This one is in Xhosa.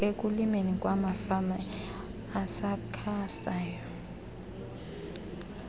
ekulimeni kwamafama asakhasayo